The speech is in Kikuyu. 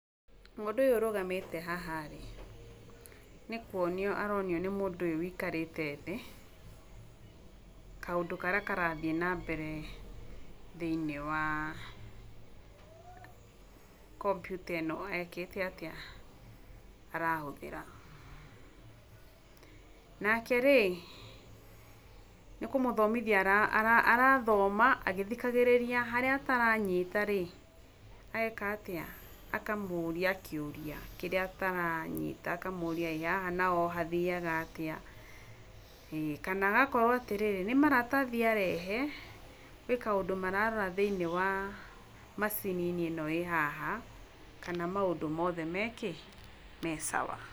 Mũndũ ũyũ ũrũgamĩte haha rĩ, nĩ kũonio aronio nĩ mũndũ ũyũ wĩikarĩte thĩ, kaũndũ karĩa karathiĩ na mbere thĩinĩ wa[uhh]kompyuta ĩno ekĩte atĩa ,arahũthĩra, nake rĩ nĩkũmũthomithia arathomitha agĩthikagĩrĩria harĩa ataranyita rĩ, ageka atĩa akamũria kĩũria kĩrĩa ataranyita, akamũrĩa''ĩ haha naho hathiaga atĩa'', ĩ kana agakorwo atĩrĩrĩ nĩ maratathi arehe, gwĩkaũndũ mararora thĩinĩ wa [uhhh]macininĩ ĩno ĩ haha kana maũndũ mothe me kĩ?,me sawa.